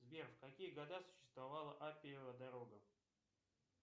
сбер в какие года существовала аппиева дорога